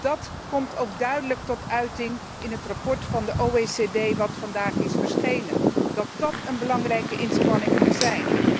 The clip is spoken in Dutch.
Dat komt ook duidelijk tot uiting in het rapport van de OESO dat vandaag is verschenen dat dat een belangrijke inspanning moet zijn.